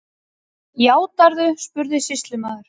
Játarðu, spurði sýslumaður.